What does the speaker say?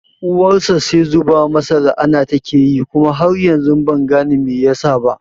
Uwarsa sai zuba masa la'ana take tayi kuma har yanzu ban gane me yasa ba